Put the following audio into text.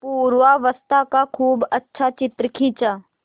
पूर्वावस्था का खूब अच्छा चित्र खींचा